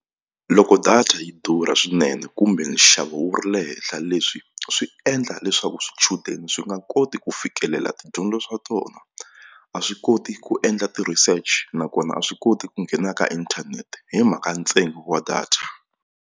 Loko data yi durha swinene kumbe nxavo wu ri le henhla leswi swi endla leswaku swichudeni swi nga koti ku fikelela tidyondzo swa tona a swi koti ku endla ti-research nakona a swi koti ku nghena ka inthanete hi mhaka ntsengo wa data.